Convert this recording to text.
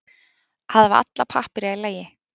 Að hafa alla pappíra í lagi